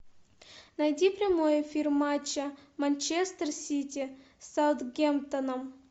найди прямой эфир матча манчестер сити с саутгемптоном